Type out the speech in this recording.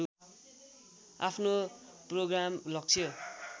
आफ्नो प्रोग्राम लक्ष्य